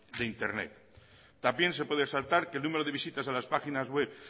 de internet también se puede resaltar que el número de visitas